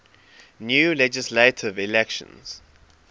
new legislative elections